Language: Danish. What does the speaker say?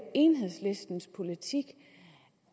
enhedslistens politik